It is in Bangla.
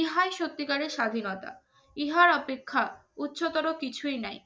ইহাই সত্যিকারের স্বাধীনতা ইহার অপেক্ষা উচ্চতর কিছুই নাই।